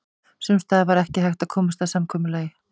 Sums staðar var ekki hægt að komast að samkomulagi.